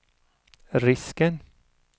risken